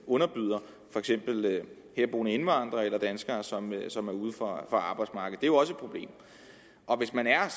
underbyder herboende indvandrere eller danskere som som er uden for arbejdsmarkedet jo også problem hvis man er